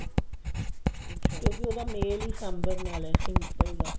ਕਿਉਂਕਿ ਉਹਦਾ ਮੇਲ ਹੀ ਸਾਂਬਰ ਨਾਲ ਹੈ ਸਾਂਬਰ ਦਾ